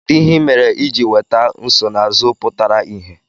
Kedu ihe ị mere iji nweta nsonaazụ pụtara ìhè?